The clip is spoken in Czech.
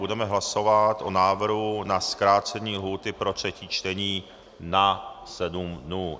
Budeme hlasovat o návrhu na zkrácení lhůty pro třetí čtení na sedm dnů.